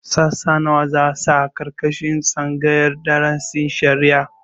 Sassa nawa za a sa a ƙarƙashin tsangayar darasin shari'a?